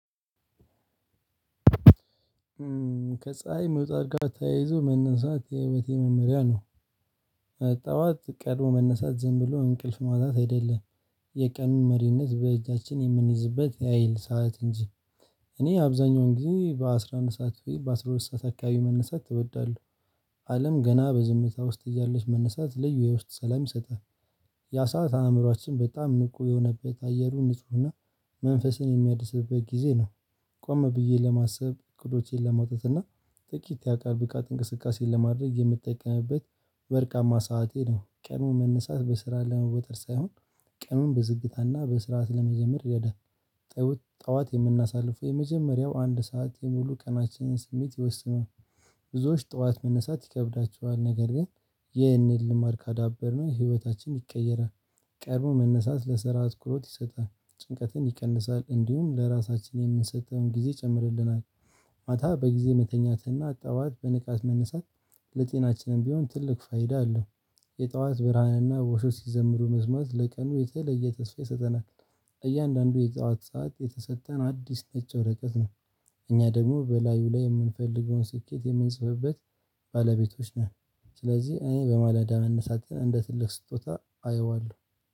ከፀሀይ መውጣት ጋር ተያይዞ መነሳት የህይወቴ መመሪያ ነው ጠዋት ቀድሞ መነሳት ዝም ብሎ እንቅልፍ ማጣት አይደለም የቀኑን መሪነት በእጃችን የምንይዝበት ያህል ሰዓት እንጂ እኔ አብዛኛውን ጊዜ በአስራ አንድ ሰዓት ወይም በአስራ ሁለት ሰዓት አካባቢ መነሳት እወዳለሁ አለም ገና በዝምታ ውስጥ እያለች መነሳት ልዩ የውስጥ ሰላም ይሰጣል። ያ ሰዓት አእምሮአችን በጣም ንቁ የሆነበት አየሩ ንፁህና መንፈስን የሚያድስበት ጊዜ ነው ቆም ብዬ ለማሰብ እቅዶቼን ለማውጣት እና ጥቂት የአካል ብቃት እንቅስቃሴን ለማድረግ የምትጠቀምበት ወርቃማ ሰዓቴ ነው ቀኑን መነሳት በስራ ለመወጠር ሳይሆን ቀኑን በዝግታና በስርዓት ለመጀምር ይረዳል ጠዋት የምናሳልፈው የመጀመሪያው አንድ ሰዓት የሙሉ ቀናችንን ስሜት ይወስኑን ብዙዎች ጠዋት መነሳት ይከብዳቸዋል ነገር ግን ይህንን ልማድ ካዳበርነው ህይወታችን ይቀየራል ቀድሞ መነሳት ለስራ አትኩሮት ይሰጣል ጭንቀትን ይቀንሳል እንዲሁም ለራሳችን የምንሰጠውን ጊዜ ይጨምርልናል ማታ በጊዜ መተኛትና ጠዋት በንቃት መነሳት ለጤናችንም ቢሆን ትልቅ ፋይዳ አለው። የጠዋት ብርሃንና ወፎች ሲዘምሩ መስማት ለቀኑ የተለየ ተስፋ ይሰጠናል እያንዳንዱ የጠዋት ሰዓት የተሰጠን አዲስ ነጭ ወረቀት ነው። እኛ ደግሞ በላዩ ላይ የምንፈልገውን ስኬት የምንጽፍበት ባለቤቶች ነን ስለዚህ እኔ በማለዳ መነሳትን እንደ ትልቅ ስጦታ አየዋለሁ።